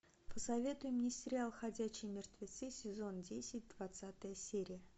посоветуй мне сериал ходячие мертвецы сезон десять двадцатая серия